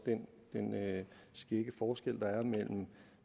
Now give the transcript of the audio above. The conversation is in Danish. men i og